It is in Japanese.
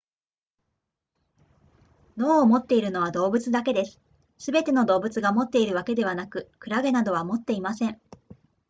脳を持っているのは動物だけですすべての動物が持っているわけではなくクラゲなどは持っていません